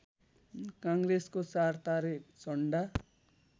काङ्ग्रेसको चारतारे झण्डा